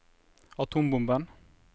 atombomben